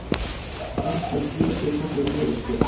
Almennt var búist við þessari niðurstöðu